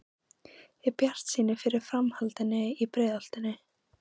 Er bjartsýni fyrir framhaldinu í Breiðholtinu?